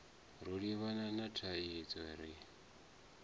ro livhana na thaidzo ri